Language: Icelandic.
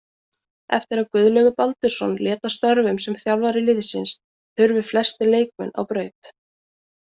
Eftir að Guðlaugur Baldursson lét af störfum sem þjálfari liðsins hurfu flestir leikmenn á braut.